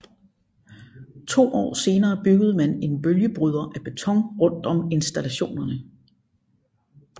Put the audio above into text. To år senere byggede man en bølgebryder af beton rundt om installationerne